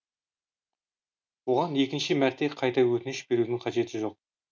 оған екінші мәрте қайта өтініш берудің қажеті жоқ